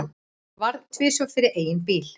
Varð tvisvar fyrir eigin bíl